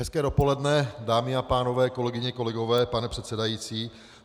Hezké dopoledne, dámy a pánové, kolegyně, kolegové, pane předsedající.